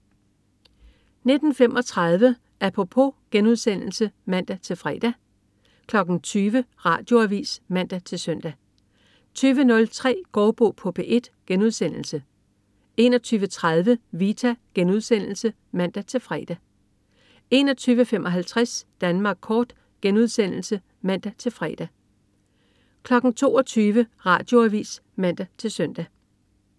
19.35 Apropos* (man-fre) 20.00 Radioavis (man-søn) 20.03 Gaardbo på P1* 21.30 Vita* (man-fre) 21.55 Danmark kort* (man-fre) 22.00 Radioavis (man-søn)